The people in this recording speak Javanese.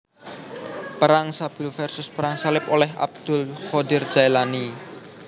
Perang Sabil Versus Perang Salib Oleh Abdul Qodir Jaelani